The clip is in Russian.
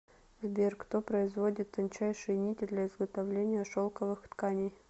сбер кто производит тончайшие нити для изготовления шелковых тканей